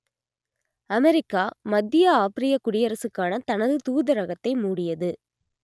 America மத்திய ஆப்பிரிய குடியரசுக்கான தனது தூதரகத்தை மூடியது